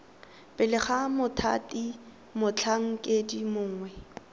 pele ga mothati motlhankedi mongwe